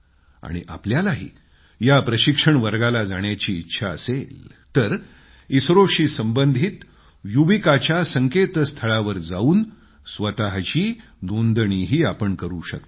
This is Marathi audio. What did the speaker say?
जर तुम्हालाही या प्रशिक्षण वर्गाला जाण्याची इच्छा असेल तर इस्रोशी संबंधित युविकाच्या संकेतस्थळी जावून स्वतःची नोंदणीही करू शकता